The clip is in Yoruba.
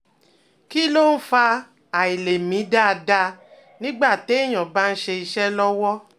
Kí ló ń fa àìlè mí dáadáa nígbà téèyàn bá ń ṣe iṣẹ́ lọ́wọ́?